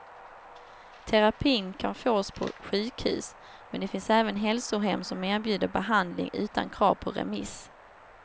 Terapin kan fås på sjukhus, men det finns även hälsohem som erbjuder behandling utan krav på remiss.